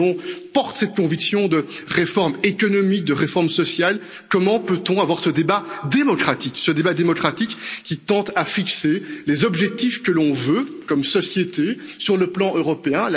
Lorsque l'on porte cette conviction de réforme économique, de réforme sociale, comment peut on avoir ce débat démocratique qui tend à fixer les objectifs que l'on veut comme société sur le plan européen?